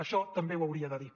això també ho hauria de dir